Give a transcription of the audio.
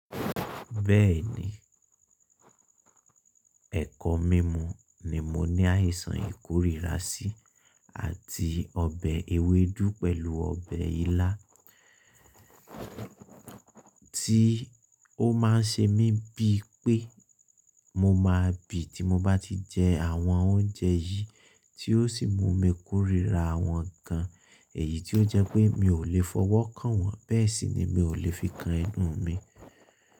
Bẹ́ẹ̀ni, ẹ̀kọ́ mímú ni mo ní àìsàn ìkórìíra sí, àti ọbẹ̀ ewédú pẹ̀lú ọbẹ̀ ilá, tí ó má ń ṣe mí bí i pé mo máa bì tí mo bá ti jẹ àwọn oúnjẹ yìí tí ó sì mú mi kórìíra àwọn nǹkan, èyí tí ó jẹ́ pé mi ò le fọwọ́ kàn wọ́n bẹ́ẹ̀ sì ni mi ò le fi kan ẹnu mi.